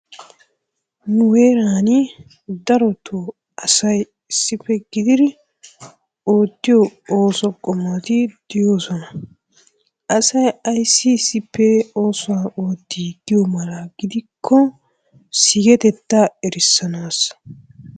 Nu heeran darotoo asay issippe gididi oottiyo ooso qommoti de'oosona. Asay ayissi issippe oosuwa ootti giyo mala gidikko sigetettaa erissanaassa.